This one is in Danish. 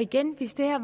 igen hvis det her